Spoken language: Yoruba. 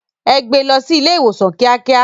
Ẹ gbé lọ sí ilé ìwòsàn kíákíá.